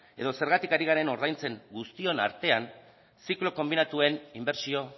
edo zergatik ari garen indartzen guztion artean ziklo konbinatuen inbertsio